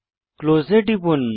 close এ টিপুন